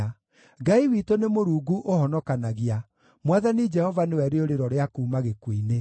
Ngai witũ nĩ Mũrungu ũhonokanagia; Mwathani Jehova nĩwe rĩũrĩro rĩa kuuma gĩkuũ-inĩ.